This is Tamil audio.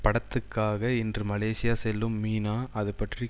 படத்துக்காக இன்று மலேசியா செல்லும் மீனா அதுபற்றி